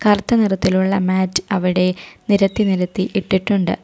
കറുത്ത നിറത്തിലുള്ള മാറ്റ് അവിടെ നിരത്തി നിരത്തി ഇട്ടി ആയിട്ട് ഒരുണ്ട്.